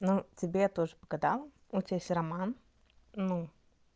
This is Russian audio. ну тебе я тоже погадала у тебя есть роман ну